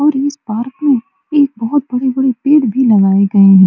और इस पार्क में एक बहुत बड़े बड़े पेड़ भी लगाए गए हैं।